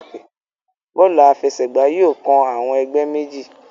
Bóòlù àfẹsẹ̀gbá yóò kán awon ègbé méjì.